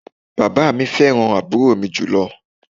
Bàbá mi fẹ́ràn àbúrò mi jùlọ